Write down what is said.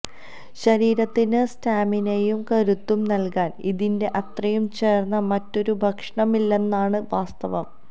ശരീരത്തിന് സ്റ്റാമിനയും കരുത്തും നല്കാന് ഇതിന്റെ അത്രയും ചേര്ന്ന മറ്റൊരു ഭക്ഷണമില്ലെന്നതാണ് വാസ്തവം